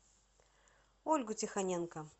ольгу тихоненко